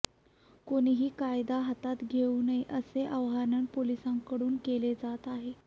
कोणीही कायदा हातात घेऊन नये असे आवाहन पोलिसांकडून केले जात आहे